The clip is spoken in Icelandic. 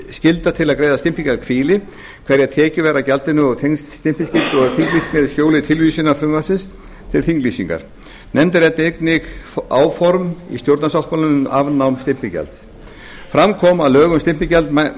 skylda til að greiða gjaldið hvíli hverjar tekjur væru af gjaldinu og tengsl stimpilskyldu og þinglýsingar í ljósi tilvísunar frumvarpsins til þinglýsingar nefndin ræddi einnig áform í stjórnarsáttmálanum um afnám stimpilgjalds fram kom að lög um stimpilgjald